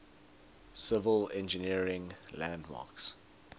civil engineering landmarks